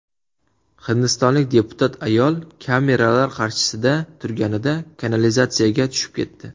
Hindistonlik deputat ayol kameralar qarshisida turganida kanalizatsiyaga tushib ketdi.